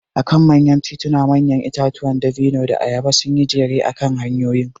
A kan manyan tituna manyan itatuwan dabino da ayaba sun yi jere akan hanyoyin.